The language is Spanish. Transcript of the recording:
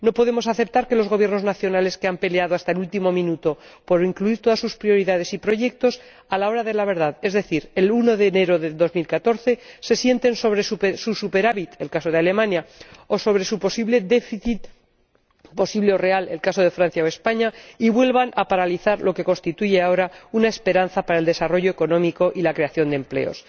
no podemos aceptar que los Gobiernos nacionales, que han peleado hasta el último minuto por incluir todas sus prioridades y proyectos, a la hora de la verdad, es decir, el 1 de enero de 2014, se sienten sobre su superávit ―el caso de Alemania― o sobre su déficit, posible o real ―el caso de Francia o España― y vuelvan a paralizar lo que constituye ahora una esperanza para el desarrollo económico y la creación de empleo.